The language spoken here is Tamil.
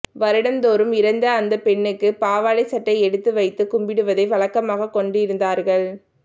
வருடம் தோறும் இறந்த அந்த பெண்ணுக்கு பாவாடை சட்டை எடுத்து வைத்துக் கும்பிடுவதை வழக்கமாக கொண்டிருந்தார்கள்